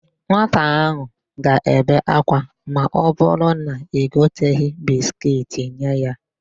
Nwata áhụ̀ ga-ebe ákwá ma ọbụrụ na i goteghi bisikiiti nye ya.